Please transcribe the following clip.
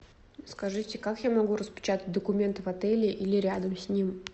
скажите как я могу распечатать документы в отеле или рядом с ним